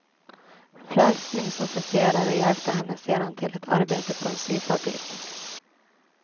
Frälsningsofficerare hjälpte henne sedan till ett arbete på en syfabrik.